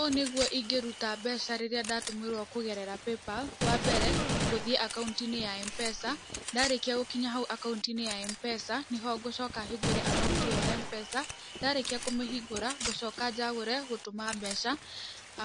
Ũũ nĩguo ingĩruta mbeca rĩrĩa ndatũmĩrwo kũgerera PayPal, wa mbere, ngũthiĩ akaunti-inĩ ya M-PESA, ndarĩkia gũkinya hau akaunti-inĩ ya M-PESA, nĩho ngũcoka hingũre akaunti ĩyo ya M-PESA, ndarĩkia kũmĩhingũra ngũcoka njagũre gũtũma mbeca,